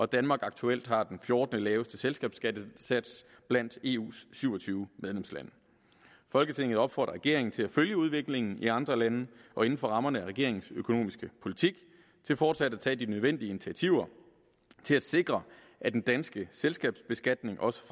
danmark aktuelt har den fjortende laveste selskabsskattesats blandt eus syv og tyve medlemslande folketinget opfordrer regeringen til at følge udviklingen i andre lande og inden for rammerne af regeringens økonomiske politik til fortsat at tage de nødvendige initiativer til at sikre at den danske selskabsbeskatning også